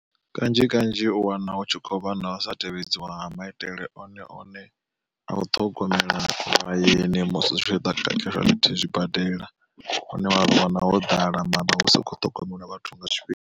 Kanzhi kanzhi u wana hu tshi khou vha na usa tevhedziwa ha maitele one one a u ṱhogomela vhayeni musi zwi tshi ḓa zwibadela. Hune wa wana ho ḓala mara husi kho ṱhogomelwa vhathu nga tshifhinga.